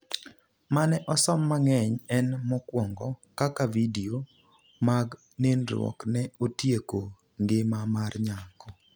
mane osom mangeny en mokuongo ,Kaka vidio mag nindruok ne otieko ngima mar nyako